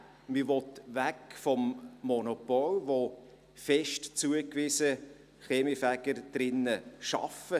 Man will weg vom Monopol, in welchem die Kaminfeger fest zugewiesen arbeiten.